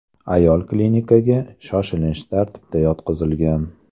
Ayol klinikaga shoshilinch tartibda yotqizilgan.